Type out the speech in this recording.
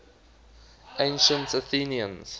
ancient athenians